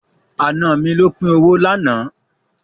Àna mi ló pín owó lánàá.